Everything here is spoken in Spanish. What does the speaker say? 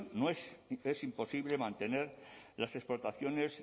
es imposible mantener las explotaciones